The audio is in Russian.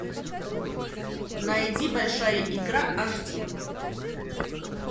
найди большая игра аш ди